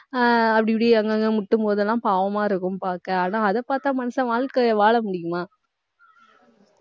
ஆஹ் அப்படி, இப்படி அங்கங்க முட்டும் போதெல்லாம், பாவமா இருக்கும் பார்க்க. ஆனா அதை பார்த்தா மனுஷன் வாழ்க்கைய வாழ முடியுமா